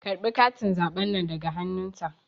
Karɓe katin zaɓen nan daga hannun ta